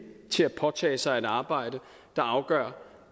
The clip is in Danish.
til at påtage sig et arbejde der afgør